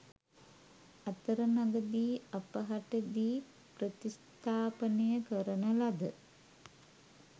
අතරමගදී අපහටදී ප්‍රතිස්ථාපනය කරන ලද